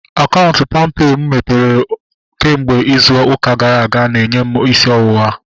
Akaụntụ palmpay mụ mepere kemgbe izu ụka gara aga na-enye m isi ọwụwa